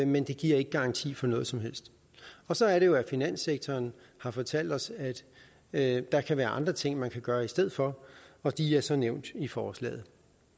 men det giver ikke garanti for noget som helst og så er det jo at finanssektoren har fortalt os at der kan være andre ting man kan gøre i stedet for og de er så nævnt i forslaget